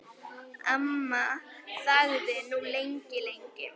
Amma þagði nú lengi, lengi.